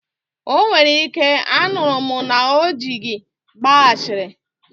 O nwere ike, anụrụ m na o ji gị gbaa ashịrị